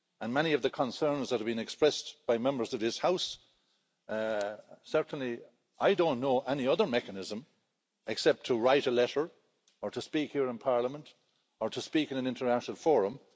Many of the concerns that have been expressed by Members of this House certainly I don't know any other mechanism, except to write a letter, or to speak here in Parliament, or to speak in an international forum.